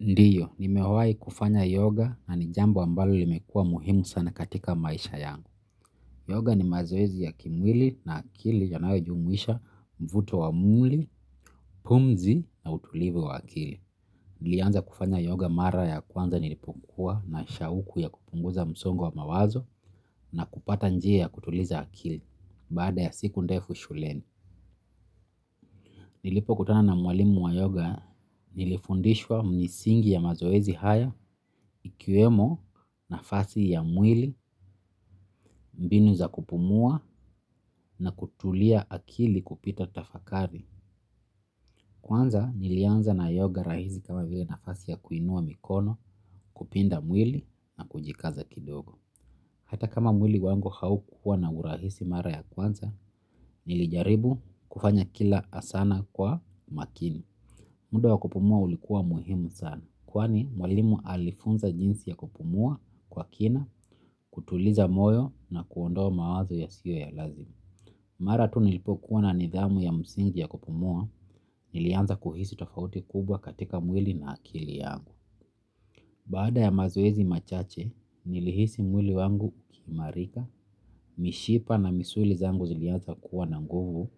Ndiyo, nimewahi kufanya yoga na ni jambo ambalo limekua muhimu sana katika maisha yangu. Yoga ni mazoezi ya kimwili na akili yanayojumuisha mvuto wa mwili, pumzi na utulivu wa akili. Nilianza kufanya yoga mara ya kwanza nilipokuwa na shauku ya kupunguza msongo wa mawazo na kupata njia ya kutuliza akili baada ya siku ndefu shuleni. Nilipo kutana na mwalimu wa yoga nilifundishwa misingi ya mazoezi haya ikiwemo nafasi ya mwili mbinu za kupumua na kutulia akili kupita tafakari. Kwanza nilianza na yoga rahisi kama vile nafasi ya kuinua mikono kupinda mwili na kujikaza kidogo. Hata kama mwili wangu haukua na urahisi mara ya kwanza nilijaribu kufanya kila asana kwa makini. Muda wa kupumua ulikuwa muhimu sana, kwani mwalimu alifunza jinsi ya kupumua kwa kina, kutuliza moyo na kuondoa mawazo yasiyo ya lazima. Mara tu nilipokuwa na nidhamu ya msingi ya kupumua, nilianza kuhisi tofauti kubwa katika mwili na akili yangu. Baada ya mazoezi machache, nilihisi mwili wangu ukiimarika, mishipa na misuli zangu zilianza kuwa na nguvu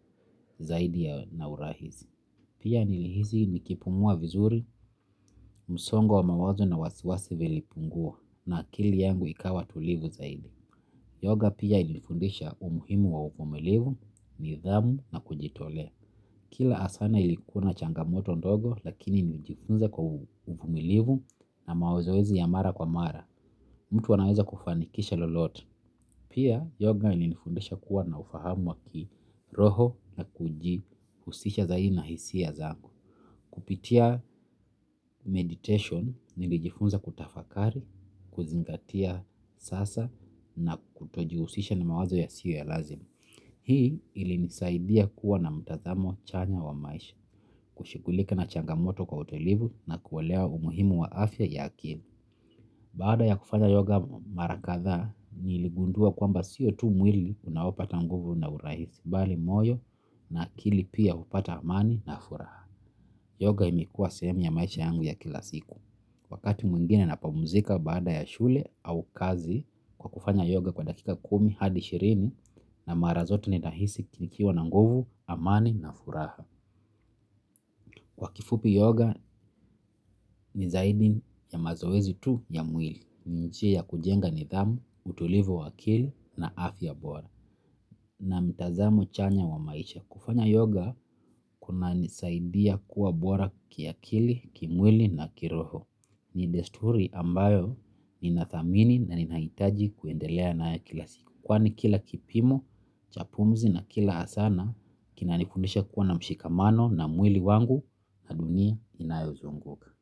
zaidi ya na urahisi. Pia nilihisi nikipumua vizuri, msongo wa wa mawazo na wasiwasi vilipungua na akili yangu ikawa tulivu zaidi. Yoga pia ilinifundisha umuhimu wa uvumilivu, nidhamu na kujitolea. Kila asana ilikuna changamoto ndogo lakini nijifunza kwa uvumilivu na mazoezi ya mara kwa mara. Mtu anaweza kufanikisha lolote pia yoga ilinifundisha kuwa na ufahamu wa kiroho na kujihusisha zaidi na hisia zangu. Kupitia meditation nilijifunza kutafakari, kuzingatia sasa na kutojihusisha na mawazo yasiyo ya lazima. Hii ili nisaidia kuwa na mtazamo chanya wa maisha, kushughulika na changamoto kwa utliuvu na kuelewa umuhimu wa afya ya akili. Baada ya kufanya yoga mara kadhaa, niligundua kwamba sio tu mwili unaopata nguvu na urahisi, bali moyo na akili pia hupata amani na furaha. Yoga imekuwa sehemu ya maisha yangu ya kila siku. Wakati mwingine napumzika baada ya shule au kazi kwa kufanya yoga kwa dakika kumi hadi ishirini na mara zote ninahisi nikiwa na nguvu, amani na furaha. Kwa kifupi yoga ni zaidi ya mazoezi tu ya mwili. Ni njia ya kujenga nidhamu, utulivu wa akili na afya bora. Na mtazamo chanya wa maisha. Kufanya yoga kuna nisaidia kuwa bora kiakili, kimwili na kiroho. Ni desturi ambayo nina thamini na ninahitaji kuendelea nayo kila siku. Kwani kila kipimo, cha pumzi na kila hasana. Kina nifundisha kuwa na mshikamano na mwili wangu na dunia inayo zunguka.